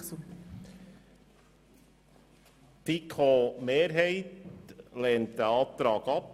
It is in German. Die FiKo-Mehrheit lehnt diesen Antrag ab.